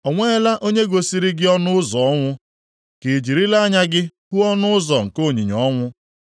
O nweela onye gosiri gị ọnụ ụzọ ọnwụ? Ka i jirila anya gị hụ ọnụ ụzọ nke onyinyo ọnwụ?